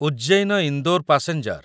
Ujjain Indore passenger